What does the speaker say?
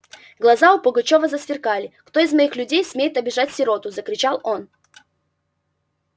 глаза у пугачёва засверкали кто из моих людей смеет обижать сироту закричал он